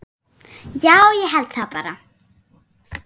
Já, ég held það bara.